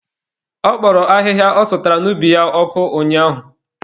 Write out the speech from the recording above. Ọ kpọrọ ahịhịa ọ sụtara n'ubi ya ọkụ ụnyaahụ.